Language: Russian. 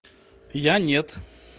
я нет